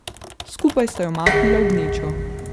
Skupaj sta jo mahnila v gnečo.